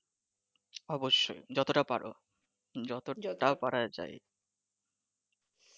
অবশ্যই যতটা পারো, যতটা পারা যায়